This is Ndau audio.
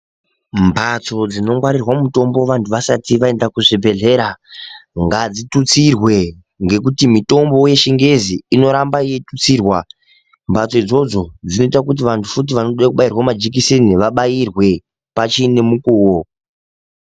Mbatso dzino ngwarirwa mutombo vantu vasati vaenda kuzvibhedhlera gazvitutsirwe ngekuti mutombowo wechingezi inoramba yeitutsirwa mbatso dzoidzodzo dzinoita kuti vantu futi vanoda kubayirwe majekiseni vabaorwe pachine mukuwo.